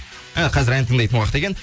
і қазір ән тыңдайтын уақыт екен